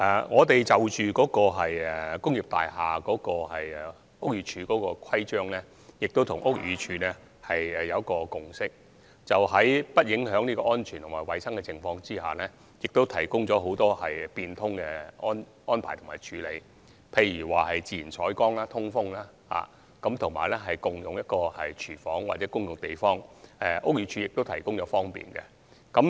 我們就着屋宇署對工業大廈的規章跟屋宇署有一個共識，就是在不影響安全和衞生的情況下，提供了很多變通的安排和處理，例如自然採光、通風、共用廚房及共用空間等，屋宇署都提供了方便。